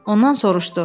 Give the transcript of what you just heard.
Ondan soruşdu: